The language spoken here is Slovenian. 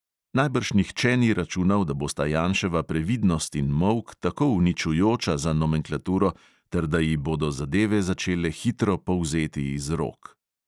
Najbrž nihče ni računal, da bosta janševa previdnost in molk tako uničujoča za nomenklaturo ter da ji bodo zadeve začele hitro polzeti iz rok.